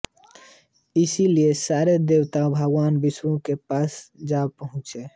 इसीलिए सारे देवता भगवान विष्णु के पास जा पहुँचे